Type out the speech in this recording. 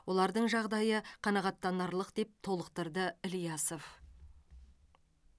олардың жағдайы қанағаттанарлық деп толықтырды ильясов